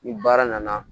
Ni baara nana